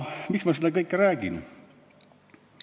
Miks ma seda kõike räägin?